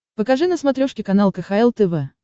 покажи на смотрешке канал кхл тв